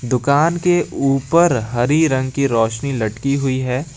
दुकान के ऊपर हरी रंग की रोशनी लटकी हुई है।